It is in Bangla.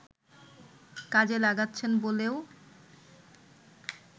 কাজে লাগাচ্ছেন বলেও